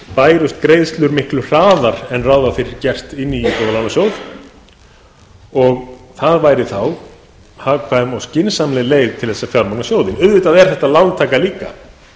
bærust greiðslur miklu hraðar inn í íbúðalánasjóð en ráð var fyrir gert og það væri þá hagkvæm og skynsamleg leið til að fjármagna sjóðinn auðvitað er þetta lántaka líka